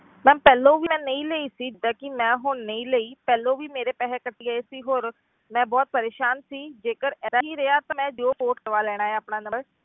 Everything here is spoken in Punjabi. Ma'am ਪਹਿਲੋਂ ਵੀ ਮੈਂ ਨਹੀਂ ਲਈ ਸੀ, ਜਿੱਦਾਂ ਕਿ ਮੈਂ ਹੁਣ ਨਹੀਂ ਲਈ ਪਹਿਲੋਂ ਵੀ ਮੇਰੇ ਪੈਸੇ ਕੱਟ ਗਏ ਸੀ ਹੋਰ ਮੈਂ ਬਹੁਤ ਪਰੇਸਾਨ ਸੀ ਜੇਕਰ ਏਦਾਂ ਹੀ ਰਿਹਾ ਤਾਂ ਮੈਂ ਜੀਓ port ਕਰਵਾ ਲੈਣਾ ਹੈ ਆਪਣਾ number